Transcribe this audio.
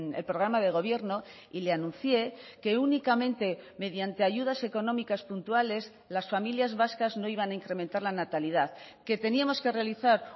el programa de gobierno y le anuncié que únicamente mediante ayudas económicas puntuales las familias vascas no iban a incrementar la natalidad que teníamos que realizar